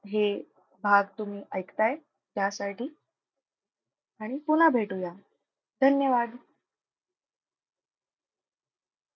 हे भाग तुम्ही ऐकताय त्यासाठी. आणि पुन्हा भेटूया. धन्यवाद.